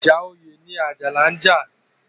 Ìjà oyè ni Àjàní ń jà.